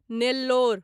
Nellore